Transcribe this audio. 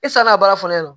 E sann'a ka baara fɔlen don